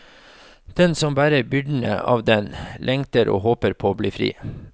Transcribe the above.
Den som bærer byrdene av den, lengter og håper på å bli fri.